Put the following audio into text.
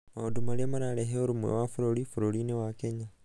maũndũ maria mararehe ũrũmwe wa bũrũri, burũrinĩ wa kenya